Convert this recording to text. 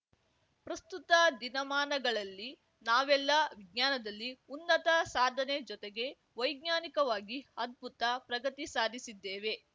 ಪ್ರಸ್ತುತ ದಿನಮಾನಗಳಲ್ಲಿ ನಾವೆಲ್ಲ ವಿಜ್ಞಾನದಲ್ಲಿ ಉನ್ನತ ಸಾಧನೆ ಜೊತೆಗೆ ವೈಜ್ಞಾನಿಕವಾಗಿ ಅದ್ಭುತ ಪ್ರಗತಿ ಸಾಧಿಸಿದ್ದೇವೆ